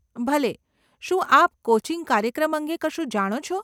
ભલે, શું આપ કોચિંગ કાર્યક્રમ અંગે કશું જાણો છો?